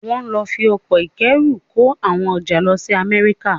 Wàá lọ fi ọkọ̀ ìkóẹrù kó àwọn ọjà lọ sí Amẹ́ríkà.